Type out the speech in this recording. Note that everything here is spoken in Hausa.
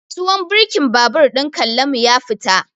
Tuwon birkin babur ɗin Kallamu ya fita.